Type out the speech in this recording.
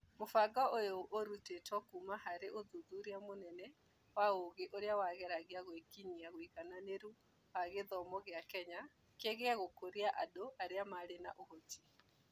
Mũbango ũyũ ũrutĩtwo kuuma harĩ ũthuthuria mũnene wa ũũgĩ ũrĩa wageragia gwĩkinyia ũigananĩru wa gĩthomo gĩa Kenya kĩgiĩ gũkũria andũ arĩa marĩ na ũhoti.